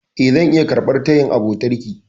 E, zan iya karɓar tayin abotarki.